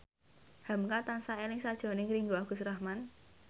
hamka tansah eling sakjroning Ringgo Agus Rahman